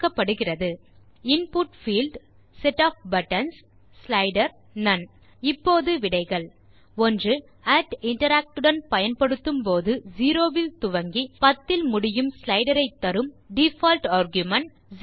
options பின் வருவன input field set of buttons slider none இப்போது விடைகள் 1interact உடன் பயன்படுத்தும் போது 0 இல் துவங்கி 10 இல் முடியும் ஸ்லைடர் ஐ தரும் டிஃபால்ட் ஆர்குமென்ட் 010